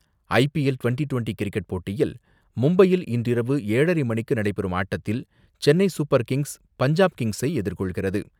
IPL twenty twenty cricket போட்டியில் மும்பையில் இன்றிரவு ஏழரை மணிக்கு நடைபெறும் ஆட்டத்தில், சென்னை சூப்பர் கிங்ஸ் பஞ்சாப் கிங்ஸை எதிர்கொள்கிறது.